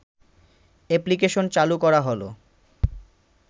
application চালু করা হল